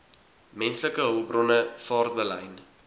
menslike hulpbronne vaartbelyn